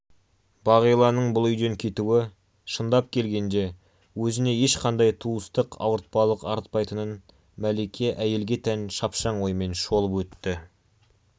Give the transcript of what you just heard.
бағиланың бұл үйден кетуі шындап келгенде өзіне ешқандай туыстық ауыртпалық артпайтынын мәлике әйелге тән шапшаң оймен шолып өтті